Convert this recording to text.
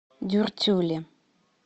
дюртюли